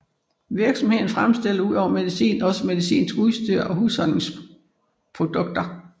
Virksomheden fremstiller udover medicin også medicinsk udstyr og husholdningsprodukter